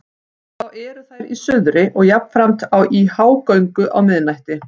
Þá eru þær í suðri og jafnframt í hágöngu á miðnætti.